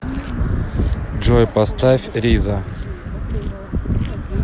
джой поставь риза